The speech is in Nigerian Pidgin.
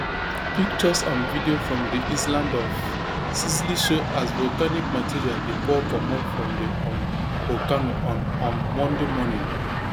pictures and video from di island of sicily show as volcanic material dey pour comot from di um volcano on um monday morning